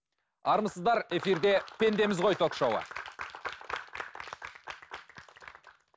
армысыздар эфирде пендеміз ғой ток шоуы